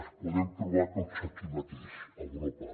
els podem trobar tots aquí mateix a europa